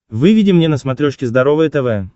выведи мне на смотрешке здоровое тв